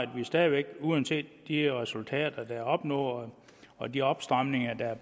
vi stadig væk uanset de her resultater der er opnået og de opstramninger der er